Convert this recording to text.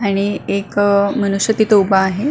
आणि एक मनुष्य तिथे उभा आहे.